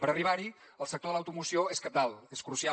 per arribar hi el sector de l’automoció és cabdal és crucial